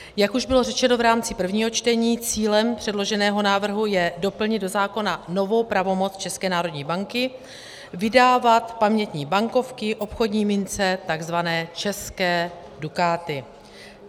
Jak už bylo řečeno v rámci prvního čtení, cílem předloženého návrhu je doplnit do zákona novou pravomoc České národní banky vydávat pamětní bankovky, obchodní mince, tzv. české dukáty.